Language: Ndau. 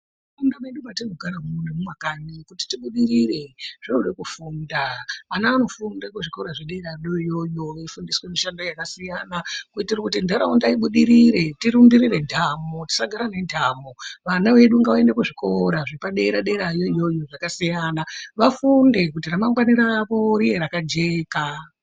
Muntaraunda mwedu mwetinogara umu nemumakanyi kuti zvibudirire zvinoda kufunda. Ana anofunda kuzvikora zvedera yoyo veifundiswa mishando yakasiyana. Kuitira kuti ntaraunda ibudirire ntamo tisagara nentamo vana vedu vaende kuzvikora zvepadera-dera yoyoyo zvakasiyana, vafunde kuti ramangwani ravo rive rakajeka.